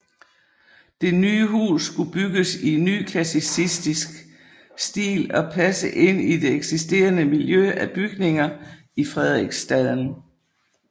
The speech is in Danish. Det nye hus skulle bygges i nyklassicistisk stil og passe ind i det eksisterende miljø af bygninger i Frederiksstaden